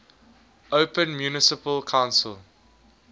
open municipal council